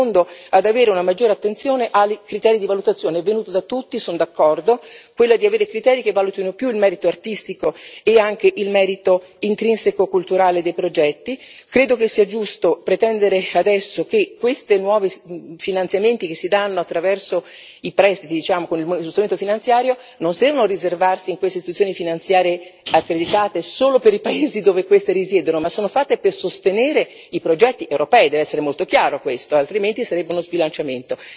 secondo ad avere una maggiore attenzione ai criteri di valutazione è venuto da tutti e sono d'accordo quello di avere criteri che valutino più il merito artistico e anche il merito intrinseco culturale dei progetti. Credo che sia giusto pretendere adesso che questi nuovi finanziamenti che si danno attraverso i prestiti, come strumento finanziario, non devono riservarsi a quelle situazioni finanziarie accreditate, solo per i paesi dove queste risiedono ma sono fatte per sostenere i progetti europei deve essere molto chiaro questo altrimenti sarebbe uno sbilanciamento.